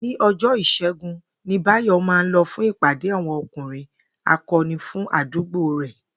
Ní o̩jo̩o̩jó̩ Ìs̩é̩gun ni Báyò̩ máa ń lo̩ fún ìpàdé àwo̩n O̩kùnrin Ako̩ni fún àdúgbò rè̩